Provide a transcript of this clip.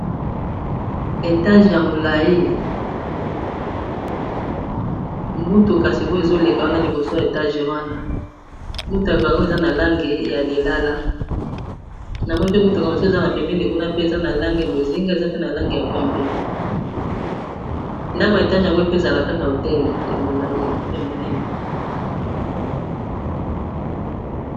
Etage ya mulayi motuka sik'oyo ezo leka wana liboso ya étage wana . Motuka yango eza na langi ya lilala, na moni pe motuka mosusu eza na pembeni kuna pe eza na langi ya bozinga, eza pe na langi ya pembe . Ndako ya étage yango il faut ezala kaka hotel ya mulayi ya munene .